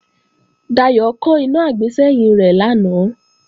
Dayò kán iná àgbésẹ́yìn rẹ̀ lánàá